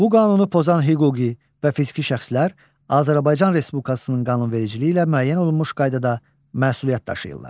Bu Qanunu pozan hüquqi və fiziki şəxslər Azərbaycan Respublikasının qanunvericiliyi ilə müəyyən olunmuş qaydada məsuliyyət daşıyırlar.